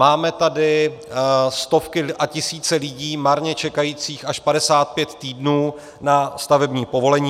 Máme tady stovky a tisíce lidí marně čekajících až 55 týdnů na stavební povolení.